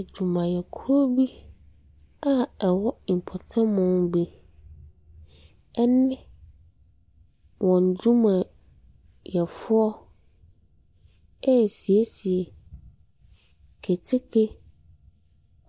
Adwumayɛkuo bi a ɛwɔ mpɔtam bi ne wɔn nnwumayɛfoɔ resiesie keteke